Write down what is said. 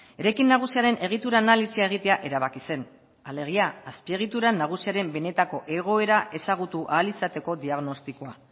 eraikin nagusiaren egitura analisia egitea erabaki zen alegia azpiegitura nagusiaren benetako egoera ezagutu ahal izateko diagnostikoa